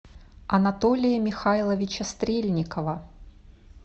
анатолия михайловича стрельникова